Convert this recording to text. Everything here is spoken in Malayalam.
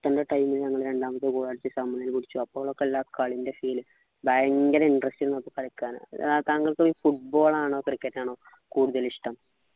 ൻ്റെ time ൽ നമ്മള് രണ്ടാമത് world അപ്പോളൊക്കെ ഉള്ള ആ കളിൻ്റെ feel ഭയങ്കര interest ആയിരുന്നു അപ്പൊ കളിയ്ക്കാൻ ആഹ് താങ്കൾക് ഈ football ആണോ cricket ആണോ കൂടുതലിഷ്ടം